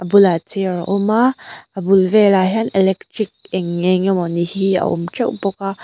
a bulah chair a awm a a bul velah hian electric eng eng emaw ni a awm teuh bawk a.